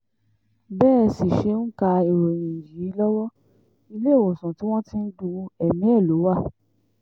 bẹ́ ẹ sì ṣe ń ka ìròyìn yìí lọ́wọ́ iléewòsàn tí wọ́n ti ń du ẹ̀mí ẹ lọ wá